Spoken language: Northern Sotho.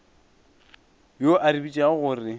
yo a re tsebišago gore